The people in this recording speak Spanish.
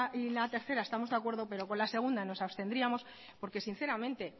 y la tercera estamos de acuerdo pero con la segunda nos abstendríamos porque sinceramente